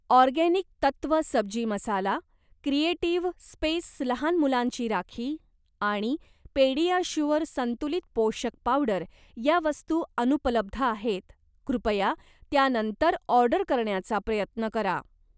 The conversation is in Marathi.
ऑर्गेनिक तत्व सब्जी मसाला, क्रिएटिव्ह स्पेस लहान मुलांची राखी आणि पेडीआश्युअर संतुलित पोषक पावडर या वस्तू अनुपलब्ध आहेत, कृपया त्या नंतर ऑर्डर करण्याचा प्रयत्न करा